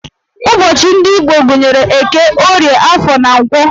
Ụbọchị ndị Igbo gụnyere Eke, Orie, Afọ, na Nkwọ